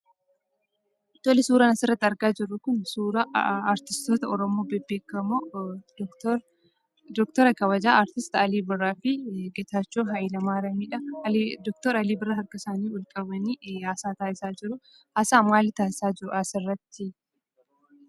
Tole, suuraan asirratti argaa jirru kun suuraa artistoota Oromoo bebbeekamoo doktor doktora kabajaa artist Alii Birraa fi Getaachoo Hayilemaariyamidha. Doktor Alii Birraan harka isaanii ol qabanii haasaa taasisaa jiruu. Haasaa maalii taasisaa jiru asirratti?